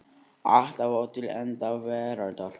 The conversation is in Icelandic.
Alltaf og til enda veraldar.